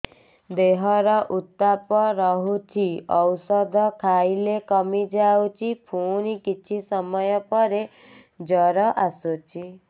ଦେହର ଉତ୍ତାପ ରହୁଛି ଔଷଧ ଖାଇଲେ କମିଯାଉଛି ପୁଣି କିଛି ସମୟ ପରେ ଜ୍ୱର ଆସୁଛି